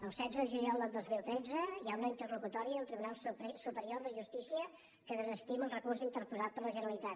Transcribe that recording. el setze de juliol del dos mil tretze hi ha una interlocutòria del tribunal superior de justícia que desestima el recurs interposat per la ge·neralitat